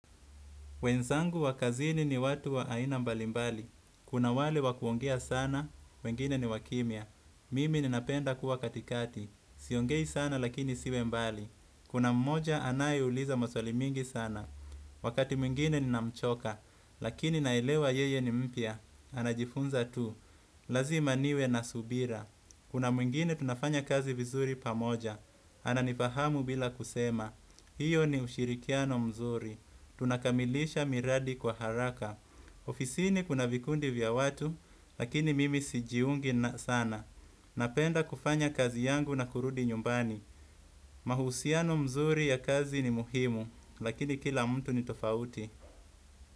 Wenzangu wakazini ni watu wa aina mbalimbali. Kuna wale wakuongea sana, wengine ni wakimya. Mimi ninapenda kuwa katikati. Siongei sana lakini siwe mbali. Kuna mmoja anaye uliza maswalimingi sana. Wakati mwingine ninamchoka. Lakini naelewa yeye ni mpya. Anajifunza tu. Lazima niwe nasubira. Kuna mwingine tunafanya kazi vizuri pamoja. Ana nifahamu bila kusema. Hiyo ni ushirikiano mzuri. Tunakamilisha miradi kwa haraka. Ofisini kuna vikundi vya watu, lakini mimi sijiungi na sana. Napenda kufanya kazi yangu na kurudi nyumbani. Mahusiano mzuri ya kazi ni muhimu lakini kila mtu ni tofauti.